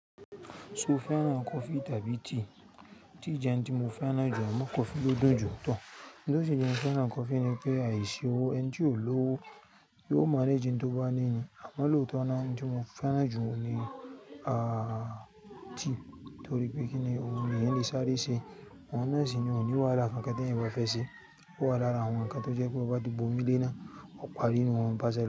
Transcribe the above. Ṣo fẹ́ràn coffee tàbí tea? Tea jẹ́ ohun tí mo fẹ́ràn jù, àmọ́ coffee ló dùn jù tán. Ohun tó ṣi jé fẹ́ràn coffee ni pé àìsí owó, ẹni tí ò ni ọ́wọ́ yóò manage oun to bá ní ni. Àmọ́ lóòótọ́ náà ohun tí mo fẹ́ràn jù ni tea, torí pé kíni ohun nì ayẹn lè sáré se, ohun náà ní kòní wàhála kankan tí ènìyàn bá fẹ́ se, ó wà lára àwọn ǹkan tó jẹ́ pé, to bá ti bomi léé náà, ó parí nu oun bàṣẹ lọ́